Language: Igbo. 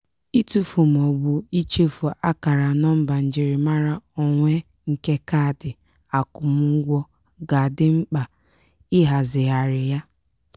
itụfu ma ọ bụ ichefu akara nọmba njirimara onwe nke kaadị akwụmụgwọ ga-adị mkpa ịhazigharị ya.